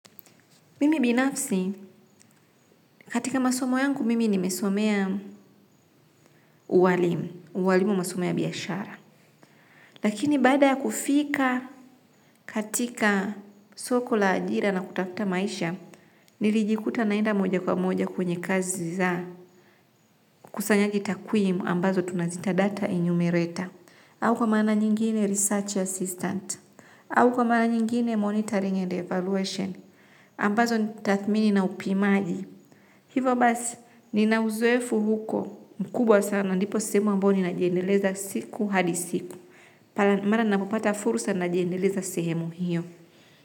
Mimi binafsi, katika masomo yangu mimi nimesomea ualimu, ualimu masomo ya biashara. Lakini baada ya kufika katika soko la ajira na kutafuta maisha, nilijikuta naenda moja kwa moja kwenye kazi za ukusanyaji takwimu ambazo tunazita data enumerator. Au kwa maana nyingine research assistant, au kwa maana nyingine monitoring and evaluation, ambazo ni taathmini na upimaji. Hivo basi, ninauzoefu huko mkubwa sana ndipo sehemu ambyo ninajendeleza siku hadi siku. Mara napopata furusa najiendeleza sehemu hiyo.